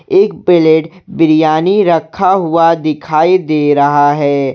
एक प्लेट बिरयानी रखा हुआ दिखाई दे रहा है।